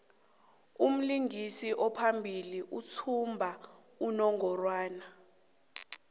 umlingisi ophambili uthumba unongorwand